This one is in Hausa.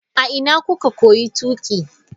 A ina kuka koyi tuƙi?